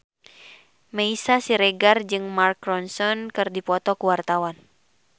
Meisya Siregar jeung Mark Ronson keur dipoto ku wartawan